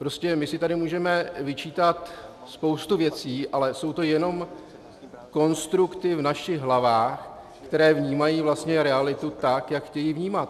Prostě my si tady můžeme vyčítat spoustu věcí, ale jsou to jenom konstrukty v našich hlavách, které vnímají vlastně realitu tak, jak chtějí vnímat.